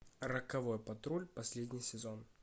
роковой патруль последний сезон